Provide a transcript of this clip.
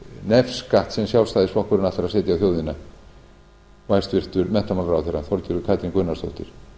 nefskatt sem sjálfstæðisflokkurinn ætlar að setja á þjóðina og hæstvirtur menntamálaráðherra þorgerður katrín gunnarsdóttir